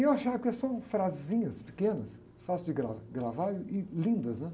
E eu achava, porque são frasezinhas, pequenas, fáceis de gra, gravar e lindas, né?